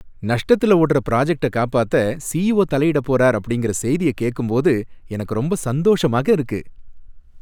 நஷ்டத்தில ஓடற பிராஜக்ட்ட காப்பாத்த சிஈஓ தலையிடப்போறார் அப்படிங்கிற செய்திய கேக்கும்போது எனக்கு ரொம்ப சந்தோஷமாக இருக்கு.